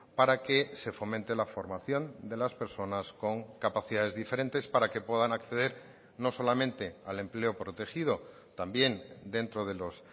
para que se fomente la formación de las personas con capacidades diferentes para que puedan acceder no solamente al empleo protegido también dentro de los